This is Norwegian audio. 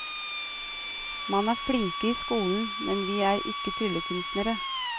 Man er flinke i skolen, men vi er ikke tryllekunstnere.